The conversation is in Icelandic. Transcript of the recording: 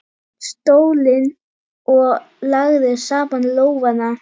stólinn og lagði saman lófana.